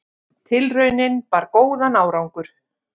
Tilraunin bar góðan árangur.